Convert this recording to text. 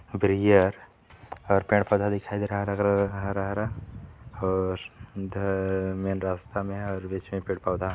उपरिया और पेड़ -पौधा दिखाई दे रहा है हरा- हरा और इधर मेन रस्ता में हैं।